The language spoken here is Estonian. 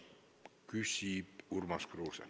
Küsib Urmas Kruuse.